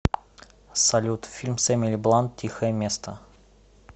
салют фильм с эмили бланд тихое место